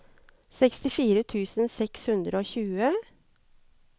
sekstifire tusen seks hundre og tjue